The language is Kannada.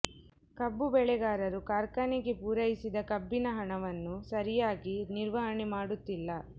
ಕಬ್ಬು ಬೆಳೆಗಾರರು ಕಾರ್ಖಾನೆಗೆ ಪೂರೈಸಿದ ಕಬ್ಬಿನ ಹಣವನ್ನು ಸರಿಯಾಗಿ ನಿರ್ವಹಣೆ ಮಾಡುತ್ತಿಲ್ಲ